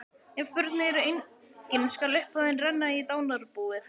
Ef börn eru engin skal upphæðin renna í dánarbúið.